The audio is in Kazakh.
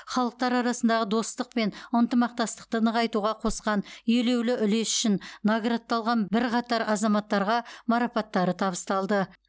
халықтар арасындағы достық пен ынтымақтастықты нығайтуға қосқан елеулі үлесі үшін наградталған бірқатар азаматтарға марапаттары табысталды